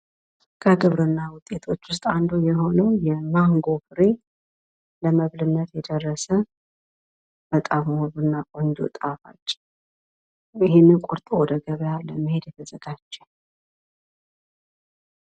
የግብርና ምርቶችን ወደ ገበያ ማቅረብና ተወዳዳሪ ማድረግ የመንግስትና የባለድርሻ አካላት የትኩረት አቅጣጫ መሆን አለበት።